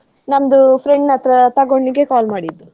ನಮ್ದು friend ನತ್ರ ತಗೊಂಡ್ ನಿಮ್ಗೆ call ಮಾಡಿದ್ದು.